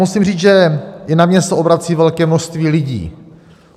Musím říct, že i na mě se obrací velké množství lidí.